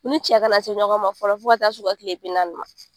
U ni cɛ ka na se ɲɔgɔn ma fɔlɔ fo ka taa se u ka kile bi naani ma.